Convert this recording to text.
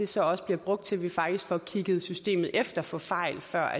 så også bliver brugt til at vi faktisk får kigget systemet efter for fejl før